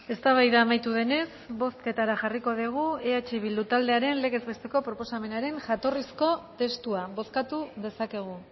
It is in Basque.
eztabaida amaitu denez bozketara jarriko dugu eh bildu taldearen legez besteko proposamenaren jatorrizko testua bozkatu dezakegu